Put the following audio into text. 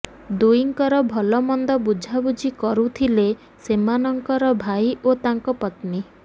ଦୁହିଁଙ୍କର ଭଲମନ୍ଦ ବୁଝାବୁଝି କରୁଥିଲେ ସେମାନଙ୍କର ଭାଇ ଓ ତାଙ୍କ ପତ୍ନୀ